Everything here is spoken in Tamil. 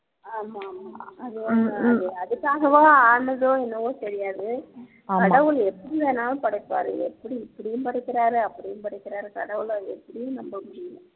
ஆமா ஆமா அது வந்து அது அதுக்காகவோ ஆனதோ என்னவோ தெரியாது கடவுள் எப்படி வேணாலும் படைப்பாரு எப்படி இப்படியும் படைக்கிறாரு அப்படியும் படைக்கிறாரு கடவுள எப்படின்னு நம்ப முடியல